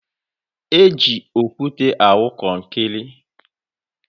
Eji okwute awụ kọnkịrị.